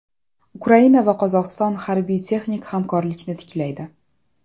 Ukraina va Qozog‘iston harbiy-texnik hamkorlikni tiklaydi.